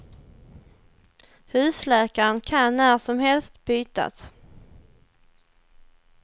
Husläkaren kan när som helst bytas.